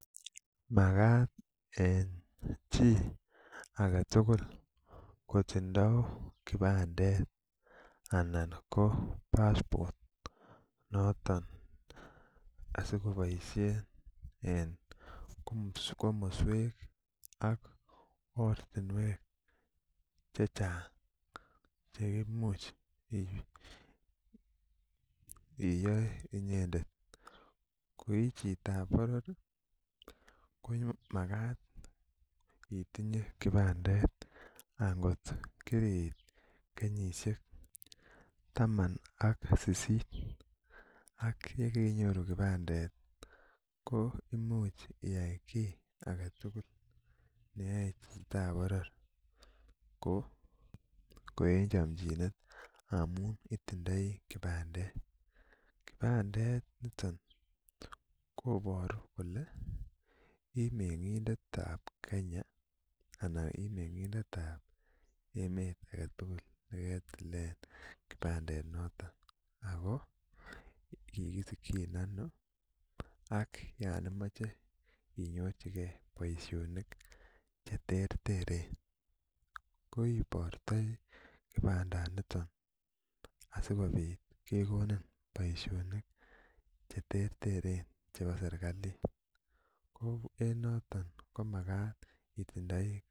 Makat en chitugul kotinye kipandet anan ko passport asikoboisien en komoswek ak ortinwek chechang cheimuch iyoe inyendet koichitab boror komakat itinye kipandet angoto kiriit taman ak sisit ak yekeinyoru kipandet koo imuch iyai kit agetugul neyoe chitab boror ko en chomchinet amun itindoi kipandet. Kipandet koboru kole imeng'indetab kenya anan imeng'indetab emet agetugul neketilen kipandenoton akoo kikisikyin anoo ak yon imoche inyorchikee boisionik cheterteren koibortoi kipandanito asikobit kekonin boisionik cheterteren chebo serikali ko en noton komakat itindoi.